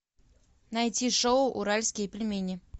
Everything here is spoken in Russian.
найти шоу уральские пельмени